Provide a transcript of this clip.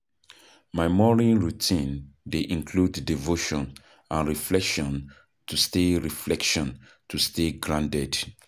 My morning routine dey include devotion and reflection to stay reflection to stay grounded.